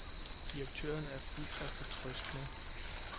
Direktøren er fuld af fortrøstning.